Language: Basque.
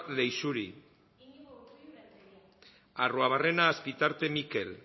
leixuri arruabarrena azpitarte mikel